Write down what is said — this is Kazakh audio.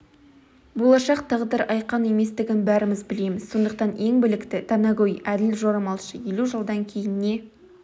болашақ тағдыр айқын еместігін бәріміз білеміз сондықтан ең білікті данагөй әділ жорамалшы елу жылдан кейін не